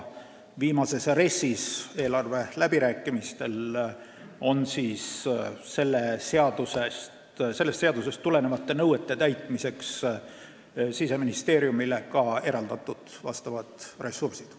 Eelarveläbirääkimiste tulemusena on viimases RES-is sellest seadusest tulenevate nõuete täitmiseks Siseministeeriumile eraldatud ka vastavad ressursid.